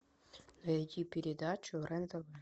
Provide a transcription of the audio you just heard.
найти передачу рен тв